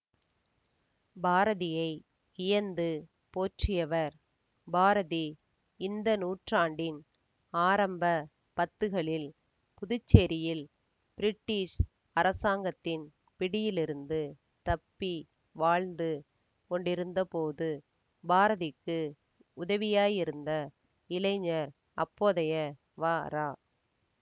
பாரதியை வியந்து போற்றியவர் பாரதி இந்த நூற்றாண்டின் ஆரம்ப பத்துக்களில் புதுச்சேரியில் பிரிட்டிஷ் அரசாங்கத்தின் பிடியிலிருந்து தப்பி வாழ்ந்து கொண்டிருந்தபோது பாரதிக்கு உதவியாயிருந்த இளைஞர் அப்போதைய வரா